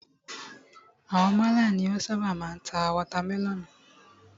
Àwọn málà ni o ṣábà máa ń ta watermẹlọ̀nùù.